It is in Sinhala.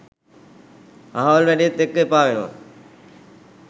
අහවල් වැඩේත් එක්ක එපා වෙනවා.